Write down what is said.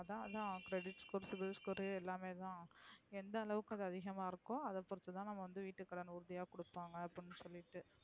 அதான் அதான் credit score sibilscore எல்லாமே தான். எந்தளவுக்கு அது அதிகமா இருக்கோ அதா பொறுத்து தான் நம்ம வீட்டு கடன் உறுதிய கூடுப்பாங்க அப்டின்னு சொல்லிட்டு.